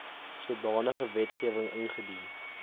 sodanige wetgewing ingedien